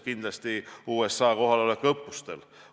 Kindlasti USA kohalolek õppustel.